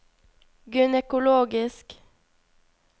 gynekologisk